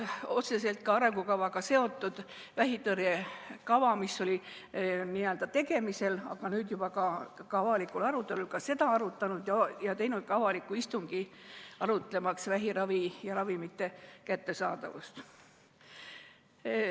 Otseselt arengukavaga seotud vähitõrje kava, mis oli tegemisel, aga nüüd on juba ka avalikul arutelul, oleme ka arutanud ja teinud avaliku istungi arutlemaks vähiravi ja ‑ravimite kättesaadavuse üle.